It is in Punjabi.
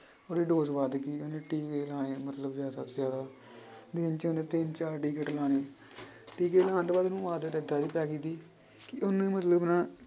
ਉਹਦੀ dose ਵੱਧ ਗਈ ਉਹਨੇ ਟੀਕੇ ਲਾਉਣੇ ਮਤਲਬ ਜ਼ਿਆਦਾ ਤੋਂ ਜ਼ਿਆਦਾ ਦਿਨ 'ਚ ਉਹਨੇ ਤਿੰਨ ਚਾਰ ਟੀਕੇ ਲਗਾਉਣੇ ਟੀਕੇ ਲਗਾਉਣ ਤੋਂ ਬਾਅਦ ਉਹਨੂੰ ਆਦਤ ਏਦਾਂ ਦੀ ਪੈ ਗਈ ਸੀ ਕਿ ਉਹਨੇ ਮਤਲਬ ਨਾ